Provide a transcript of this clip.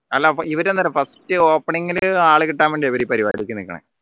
അല്ല അപ്പോ ഇവരെന്താറിയോ first opening ൽ ആള് കിട്ടാൻ വേണ്ടിയാണ് അവരെ ഈ പരിപാടിക്ക് നിക്കണേ